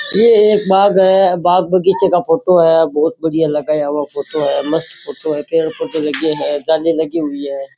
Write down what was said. ये एक बाग है बाग बगीचे का फोटो है बहुत बड़िया लगाया हुआ फोटो है मस्त फोटो है फोटो लगी है जाली लगी हुई है।